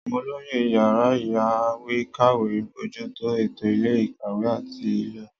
Àwọn olóyè yàrá ìyáwèékàwé ń bójú tó ètò ilé-ìkàwé àti ìlò.